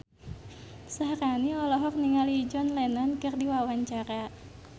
Syaharani olohok ningali John Lennon keur diwawancara